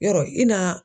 Yɔrɔ i na